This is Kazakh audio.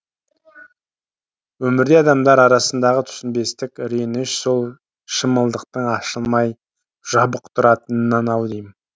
өмірде адамдар арасындағы түсінбестік реніш сол шымылдықтың ашылмай жабық тұратынынан ау деймін